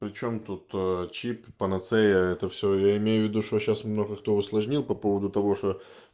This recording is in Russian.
причём тут ээ чип панацея это все я имею в виду что сейчас много кто усложнил по поводу того что